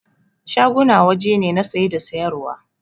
Shaguna waje ne na saye da sayar wa